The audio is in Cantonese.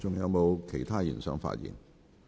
是否有其他議員想發言？